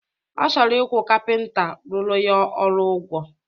Ọ chọrọ ịkwụ kapịnta rụrụ ya ọrụ ụgwọ